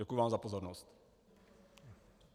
Děkuji vám za pozornost.